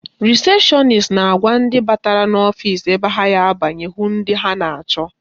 Rịsepshọnis na-agwa ndị batara ọfisi ebe ha ga-abanye hụ ndị ha na-achọ